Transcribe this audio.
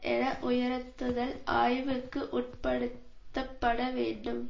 என உயர்த்துதல் ஆய்வுக்கு உட்படுத்தப்பட வேண்டும்